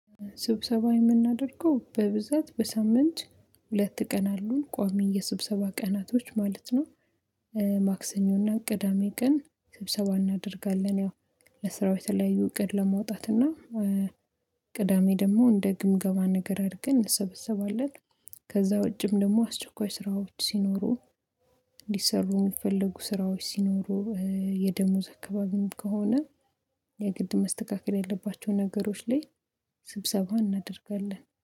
ስብሰባ የምናደርገው በብዛት በሳምንት ሁለት ቀን አሉን ቆሚ የስብሰባ ቀናቶች ማለት። ማክሰኞና ቅዳሜ ቀን ስብሰባ እናደርጋለን ያው ለስራው ተለያዩ እቅድ ለመውጣት እና ቅዳሜ ደግሞ እንደ ግምገባ ነገር አድርገን እንሰበሰባለን። ከዛ ውጭም ደግሞ አስቸኳይ ስራዎች ሲኖሩ ሊሰሩ የሚፈልጉ ስራዎች ሲኖሩ የደሞዝ አካባቢ ከሆነ የግድ ማስተካከል ያለባቸው ነገሮች ላይ ስብሰባ እናደርጋለን